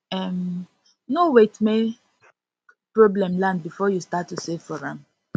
um no wait make no wait make problem land before you start to save for am